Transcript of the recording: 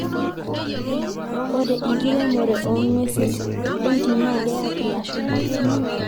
ore enkiremore oong'uesi entim naa keyau ilashumpa